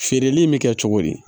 Feereli in bɛ kɛ cogo di